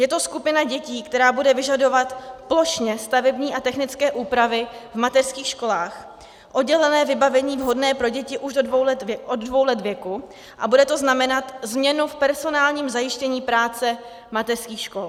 Je to skupina dětí, která bude vyžadovat plošně stavební a technické úpravy v mateřských školách, oddělené vybavení vhodné pro děti už od dvou let věku, a bude to znamenat změnu v personálním zajištění práce mateřských škol.